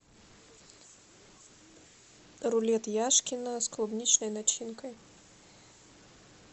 рулет яшкино с клубничной начинкой